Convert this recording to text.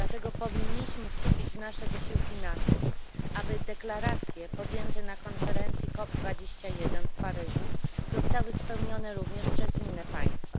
Dlatego powinniśmy skupić nasze wysiłki na tym, aby zobowiązania podjęte na konferencji COP 21 w Paryżu zostały wypełnione również przez inne państwa.